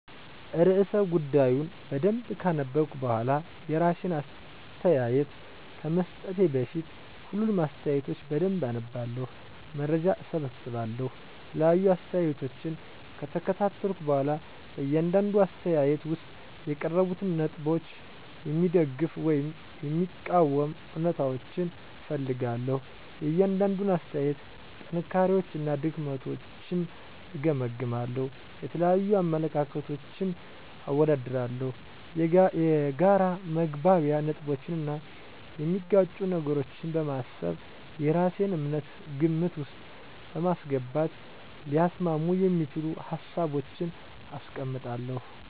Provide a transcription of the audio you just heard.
*ርዕሰ ጉዳዩን በደንብ ካነበብኩ በኋላ፤ *የራሴን አስተያየት ከመስጠቴ በፊት፦ ፣ሁሉንም አስተያየቶች በደንብ አነባለሁ፣ መረጃ እሰበስባለሁ የተለያዩ አስተያየቶችን ከተከታተልኩ በኋላ በእያንዳንዱ አስተያየት ውስጥ የቀረቡትን ነጥቦች የሚደግፉ ወይም የሚቃወሙ እውነታዎችን እፈልጋለሁ፤ * የእያንዳንዱን አስተያየት ጥንካሬዎችና ድክመቶችን እገመግማለሁ። * የተለያዩ አመለካከቶችን አወዳድራለሁ። የጋራ መግባቢያ ነጥቦችን እና የሚጋጩ ነገሮችን በማሰብ የራሴን እምነት ግምት ውስጥ በማስገባት ሊያስማሙ የሚችሉ ሀሳቦችን አስቀምጣለሁ።